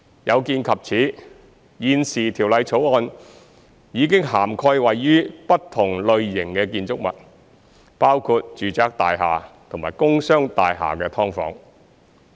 有見及此，現時《條例草案》已涵蓋位於不同類型的建築物，包括住宅大廈和工商大廈的"劏房"。